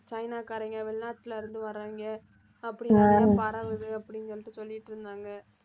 சைனாகாரங்க, வெளிநாட்டில இருந்து வர்றவங்க அப்படின்னு நிறைய பரவுது அப்படின்னு சொல்லிட்டு சொல்லிட்டிருந்தாங்க